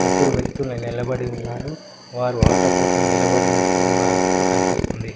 ముగ్గురు వ్యక్తులు నిలబడి ఉన్నారు వారు ఆటో కోసం నిలబడినట్లు ఉన్నారు నట్టు కనిపిస్తుంది.